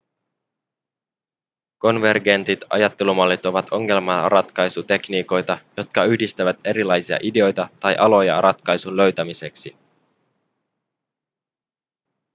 konvergentit ajattelumallit ovat ongelmanratkaisutekniikoita jotka yhdistävät erilaisia ideoita tai aloja ratkaisun löytämiseksi